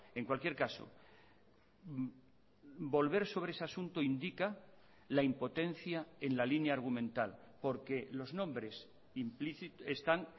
en cualquier caso volver sobre ese asunto indica la impotencia en la línea argumental porque los nombres están